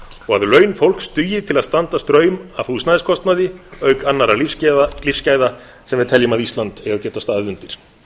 og að laun fólks dugi til að standa straum af húsnæðiskostnaði auk annarra lífsgæða sem við teljum að ísland eigi að geta staðið undir